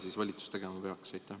Mida valitsus tegema peaks?